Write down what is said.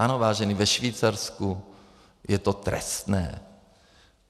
Ano, vážení, ve Švýcarsku je to trestné.